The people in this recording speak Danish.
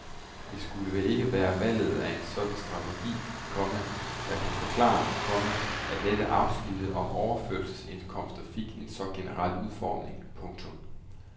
Det skulle vel ikke være valget af en sådan strategi, komma der kan forklare, komma at netop afsnittet om overførselsindkomsterne fik en så generel udformning. punktum